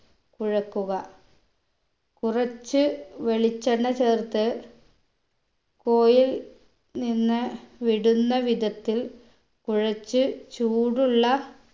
കുഴക്കുക കുറച്ച് വെളിച്ചെണ്ണ ചേർത്ത് കൊഴിൽ നിന്ന് വിടുന്ന വിധത്തിൽ കുഴച്ച് ചൂടുള്ള